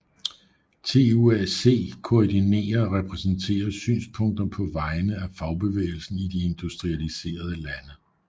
TUAC koordinerer og repræsenterer synspunkter på vegne af fagbevægelsen i de industrialiserede lande